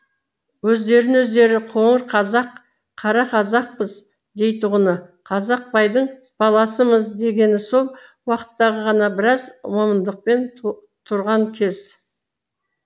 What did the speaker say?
өздерін өздері қоңыр қазақ қарақазақпыз дейтұғыны қазақбайдың баласымыз дегені сол уақыттағы ғана біраз момындықпен тұрған кез